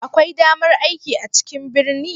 Akwai damar aiki a cikin birni?